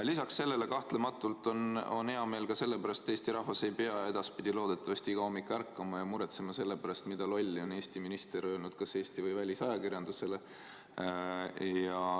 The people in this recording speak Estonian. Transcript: Lisaks sellele kahtlematult on hea meel ka selle pärast, et Eesti rahvas ei pea edaspidi loodetavasti iga hommik ärkama ja muretsema selle pärast, mida lolli on mõni Eesti minister öelnud kas Eesti või välisajakirjandusele.